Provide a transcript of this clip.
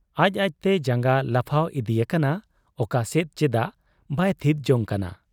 ᱟᱡ ᱟᱡᱛᱮ ᱡᱟᱝᱜᱟ ᱞᱟᱯᱷᱟᱣ ᱤᱫᱤ ᱟᱠᱟᱱᱟ ᱾ ᱚᱠᱟ ᱥᱮᱫ, ᱪᱮᱫᱟᱜ ᱵᱟᱭ ᱛᱷᱤᱛ ᱡᱚᱝ ᱠᱟᱱᱟ ᱾